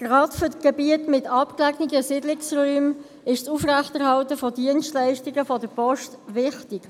Gerade für die Gebiete mit abgelegenen Siedlungsräumen ist die Aufrechterhaltung von Dienstleistungen der Post wichtig.